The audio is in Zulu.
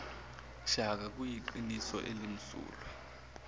shaka kuyiqiniso elimsulwa